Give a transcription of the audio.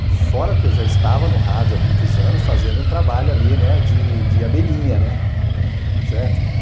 Fora que eu já estava no rádio há muitos anos fazendo um trabalho ali, né, de abelhinha, né, certo?